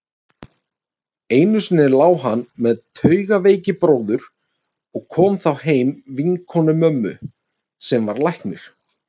Einu sinni lá hann með taugaveikibróður og kom þá heim vinkona mömmu, sem var læknir.